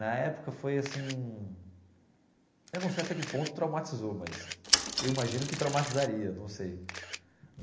Na época foi assim, eu não sei até que ponto traumatizou, mas eu imagino que traumatizaria, não sei.